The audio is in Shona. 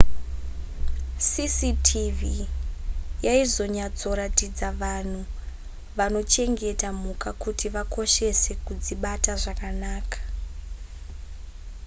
cctv yaizonyatsoratidza vanhu vanochengeta mhuka kuti vakoshese kudzibata zvakanaka